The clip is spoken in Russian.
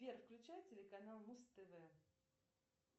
сбер включай телеканал муз тв